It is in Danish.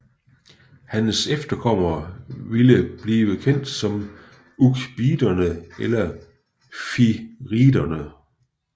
Hans efterkommere ville blive kendt som ʿUqbiderne eller Fihriderne